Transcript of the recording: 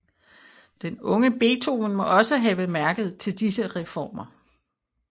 Den unge Beethoven må også have mærket til disse reformer